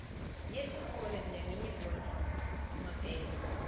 есть ли поле для мини гольфа в этом отеле